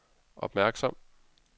opmærksom